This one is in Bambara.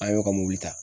An y'o ka mobili ta